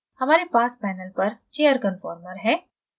हमारे पास panel पर chair conformer है